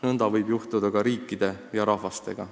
Nõnda võib juhtuda ka riikide ja rahvastega.